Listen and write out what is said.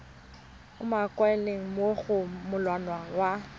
umakilweng mo go molawana wa